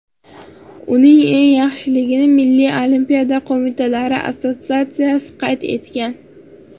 Uning eng yaxshiligini Milliy Olimpiya Qo‘mitalari Assotsiatsiyasi qayd etgan.